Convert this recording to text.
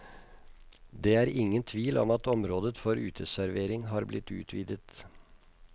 Det er ingen tvil om at området for uteservering har blitt utvidet.